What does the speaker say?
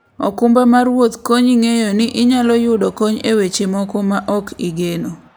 okumba mar wuoth konyi ng'eyo ni inyalo yudo kony e weche moko ma ok igeno.